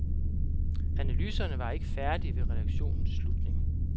Analyserne var ikke færdige ved redaktionens slutning.